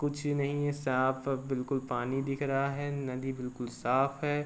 कुछ नहीं है। साफ बिल्कुल पानी दिख रहा है। नदी बिल्कुल साफ है।